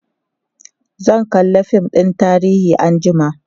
zan kalla fim ɗin tarihi anjima